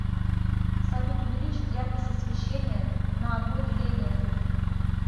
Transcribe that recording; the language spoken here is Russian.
салют увеличить яркость освещения на одно деление